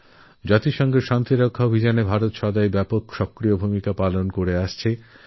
সংযুক্তরাষ্ট্রের শান্তিশিক্ষা মিশনে ভারত সবসময়ই এক বড় ভূমিকা পালন করে এসেছে